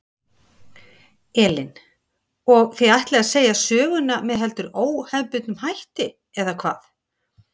Elín: Og þið ætlið að segja söguna með heldur óhefðbundnum hætti eða hvað?